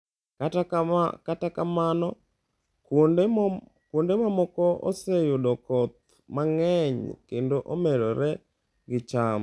Kata kamano, kuonde mamoko oseyudo koth mang’eny kendo omedore gi cham.